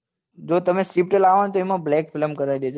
જો તમે swift લાવો ને તો એમાં black film કરાવી દેજો